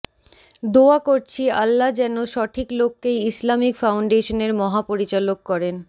দোয়া করছি আল্লাহ যেন সঠিক লোককেই ইসলামিক ফাউন্ডেশনের মহাপরিচালক করেন